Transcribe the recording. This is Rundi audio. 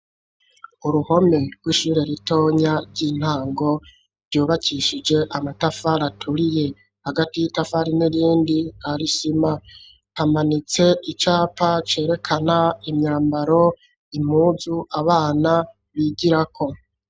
Uruhome rw'ishure ritonya ry'intango ryubakishije amatafari aturiye hagati y'itafari n'irindi hari isiima hamanitse icapa cerekana imyambaro impuzu abana bigirako.